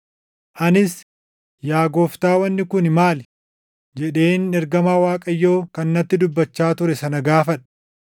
Anis, “Yaa gooftaa wanni kun maali?” jedheen ergamaa Waaqayyoo kan natti dubbachaa ture sana gaafadhe.